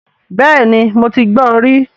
Bẹ́ẹ̀ni mo ti gbọ rí